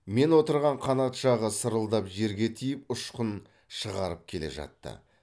мен отырған қанат жағы сырылдап жерге тиіп ұшқын шығарып келе жатты